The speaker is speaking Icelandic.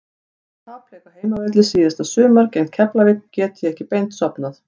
Eftir tapleik á heimavelli seinasta sumar gegn Keflavík gat ég ekki beint sofnað.